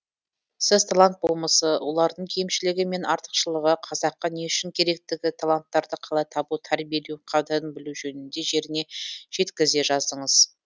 сіз талант болмысы олардың кемшілігі мен артықшылығы қазаққа не үшін керектігі таланттарды қалай табу тәрбиелеу қадірін білу жөнінде жеріне жеткізе жаздыңыз